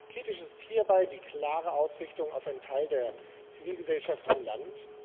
Kritisch ist hierbei die klare Ausrichtung auf einen Teil der Zivilgesellschaft im Land.